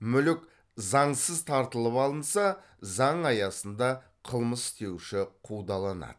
мүлік заңсыз тартылып алынса заң аясында қылмыс істеуші қудаланады